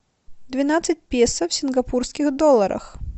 двенадцать песо в сингапурских долларах